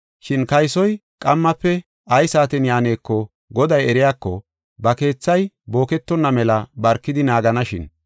Shin kaysoy qammafe ay saaten yaaneko goday eriyako, ba keethay booketonna mela barkidi naaganashin.